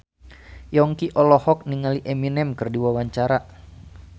Yongki olohok ningali Eminem keur diwawancara